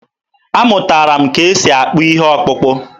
Amụtara m ka e si akpụ ihe ọkpụkpụ.